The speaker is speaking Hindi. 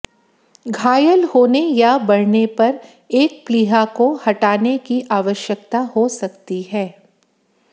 घायल होने या बढ़ने पर एक प्लीहा को हटाने की आवश्यकता हो सकती है